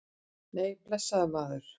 Nei, blessaður, maður.